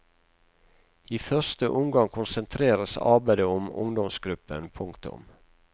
I første omgang konsentreres arbeidet om ungdomsgruppen. punktum